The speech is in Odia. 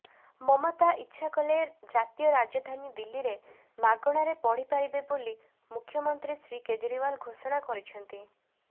ମମତା ଇଚ୍ଛା କଲେ ଜାତୀୟ ରାଜଧାନୀ ଦିଲ୍ଲୀରେ ମାଗଣାରେ ପଢ଼ିପାରିବେ ବୋଲି ମୁଖ୍ୟମନ୍ତ୍ରୀ ଶ୍ରୀ କେଜିରୱାଲ ଘୋଷଣା କରିଛନ୍ତି